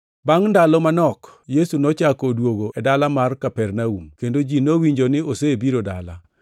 Bangʼ ndalo manok Yesu nochako odwogo e dala mar Kapernaum, kendo ji nowinjo ni osebiro dala.